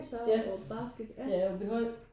Ja ja Aabyhøj